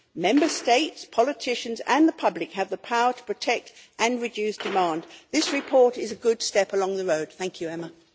Member States, politicians and the public have the power to protect and reduce demand. This report is a good step along the road, so thank you Emma.